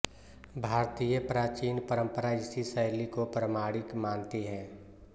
भारतीय प्राचीन परम्परा इसी शैली को प्रामाणिक मानती है